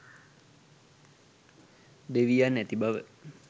දෙවියන් ඇති බව